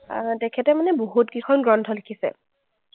আহ তেখেতে মানে বহুতকেইখন গ্ৰন্থ লিখিছে।